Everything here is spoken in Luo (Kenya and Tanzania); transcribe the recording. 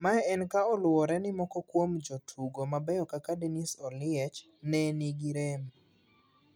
Mae en ka oluwore ni moko kuom jotugo mabeyo kaka Dennis Oliech ne ni gi rem